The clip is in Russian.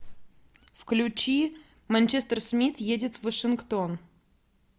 включи манчестер смит едет в вашингтон